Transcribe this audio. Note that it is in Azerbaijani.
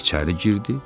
İçəri girdi.